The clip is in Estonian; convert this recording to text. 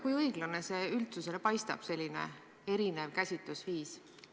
Kui õiglane üldsusele selline erinev käsitlus paistab?